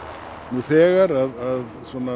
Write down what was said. nú þegar að